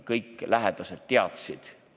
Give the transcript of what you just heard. Kõik lähedased ikkagi teadsid.